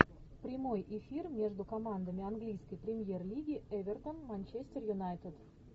прямой эфир между командами английской премьер лиги эвертон манчестер юнайтед